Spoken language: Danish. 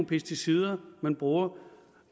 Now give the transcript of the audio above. pesticider man bruger